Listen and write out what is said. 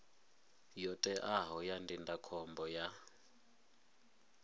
yo teaho ya ndindakhombo ya